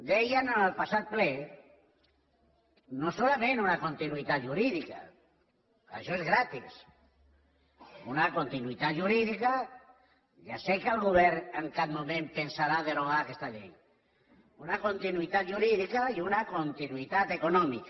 dèiem en el passat ple no solament una continuïtat jurídica això és gratis una continuïtat jurídica ja sé que el govern en cap moment pensarà derogar aquesta llei i una continuïtat econòmica